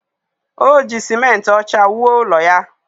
O ji simenti ọcha wuo ụlọ ya